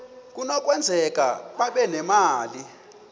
kunokwenzeka babe nemali